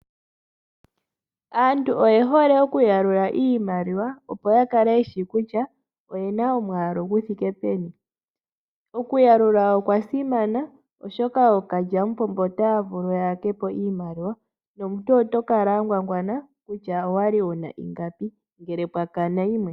Aantu oye hole okuyalula iimaliwa, opo ya kale ye shi kutya oye na omwaalu gu thike peni. Okuyalula okwa simana, oshoka ookalyamupombo otaya vulu ya yake po iimaliwa nomuntu oto kala wa ngwangwana kutya owa li wu na ingapi ngele pwa kana yimwe.